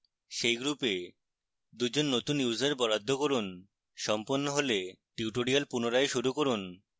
সেই গ্রুপে 2 জন নতুন users বরাদ্দ করুন